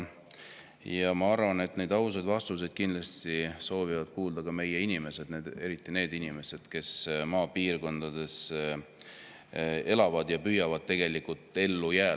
Ja ma arvan, et neid ausaid vastuseid soovivad kuulda kõik meie inimesed, eriti aga need inimesed, kes maapiirkondades elavad ja püüavad seal ellu jääda.